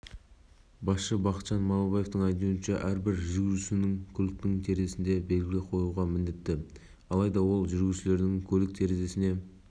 астана қаласы жергілікті полиция қызметінің басшысы бақытжан малыбаевың айтуынша жергілікі тұрғындармен кездескен кезде көліктерінің резиналары тікенді